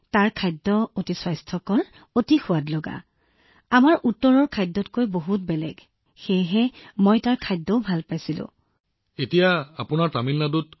তাত দিয়া খাদ্য অতি স্বাস্থ্যকৰ দৰাচলতে ই অতি সুস্বাদু আৰু ই আমাৰ উত্তৰৰ খাদ্যতকৈ বহুত বেলেগ সেয়েহে মই তাত থকা খাদ্য ভাল পাইছিলো আৰু তাত থকা লোকসকলো খুব ভাল আছিল